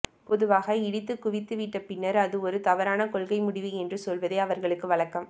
பொதுவாக இடித்துக்குவித்துவிட்டு பின்னர் அது ஒரு தவறான கொள்கைமுடிவு என்று சொல்வதே அவர்களுக்கு வழக்கம்